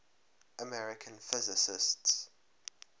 american physicists